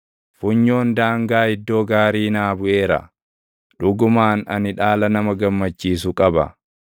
Funyoon daangaa iddoo gaarii naa buʼeera; dhugumaan ani dhaala nama gammachiisu qaba.